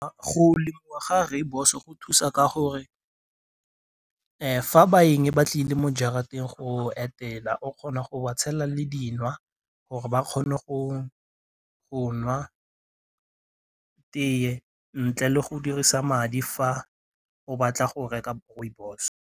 Go lemiwa ga rooibos-o go thusa ka gore fa baeng ba tlile mo jarateng go etela o kgona go ba tshela le gore ba kgone go nwa tee ntle le go dirisa madi fa o batla go reka rooibos.